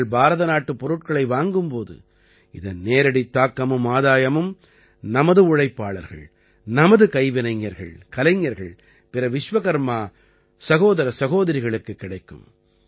நீங்கள் பாரத நாட்டுப் பொருட்களை வாங்கும் போது இதன் நேரடி தாக்கமும் ஆதாயமும் நமது உழைப்பாளர்கள் நமது கைவினைஞர்கள் கலைஞர்கள் பிற விச்வகர்மா சகோதர சகோதரிகளுக்குக் கிடைக்கும்